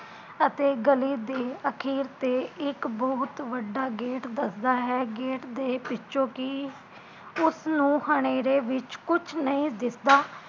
ਅਤੇ ਗਲੀ ਤੇ ਅਖੀਰ ਤੇ ਇਕ ਬਹੁਤ ਵੱਡਾ ਗੇਟ ਦਸਦਾ ਹੈ ਗੇਟ ਦੇ ਪਿੱਛੋਂ ਕੀ ਉਸ ਨੂ ਹਨੇਰੇ ਵਿੱਚ ਕੁਜ ਨਹੀਂ ਦਿਸਦਾ